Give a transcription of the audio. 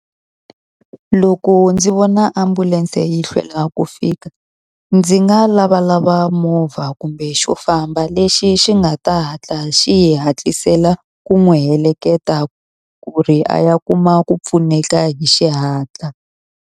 Loko ndzi vona ambulense yi hlwela ku fika, ndzi nga lavalava movha kumbe xo famba lexi xi nga ta hatla xi hatlisela ku n'wi heleketa, ku ri a ya kuma ku pfuneka hi xihatla.